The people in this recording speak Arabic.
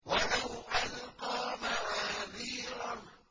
وَلَوْ أَلْقَىٰ مَعَاذِيرَهُ